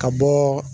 Ka bɔ